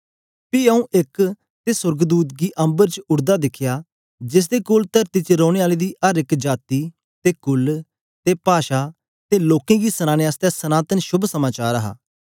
पी आऊँ एक ते सोर्गदूत गी अम्बर च उड़दा दिखया जेसदे कोल तरती च रैने आलें दी अर एक जाती ते कुल ते पाषा ते लोकें गी सनाने आसतै सनातन शोभ समाचार हा